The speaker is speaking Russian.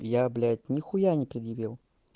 я блять нехуя не предъявил